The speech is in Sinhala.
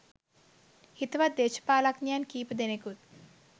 හිතවත් දේශපාලනඥයන් කීප දෙනෙකුත්